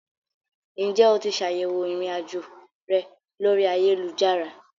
Ǹjẹ́ o ti ṣ'àyẹ̀wò irinajo rẹ lórí ayélujára?